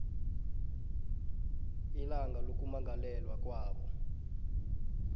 ilanga lokwamukelwa kwakho